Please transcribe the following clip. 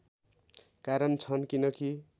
कारण छन् किनकि